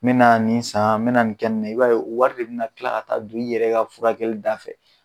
N mɛna nin san n mɛna nin kɛ nin na i b'a ye o wari de bɛ kila ka ta don i yɛrɛ ka furakɛli da fɛ.